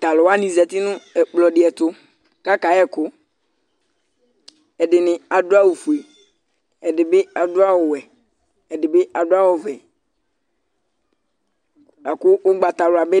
Talʋ wanɩ zati nʋ ɛkplɔ dɩ ɛtʋ kakayɛkʋƐdɩnɩ adʋ awʋ fue, ɛdɩnɩ adʋ awʋ wɛ ɛdɩ bɩ adʋ awʋ vɛ ;lakʋ ʊgbatawla nɩ